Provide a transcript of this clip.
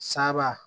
Saba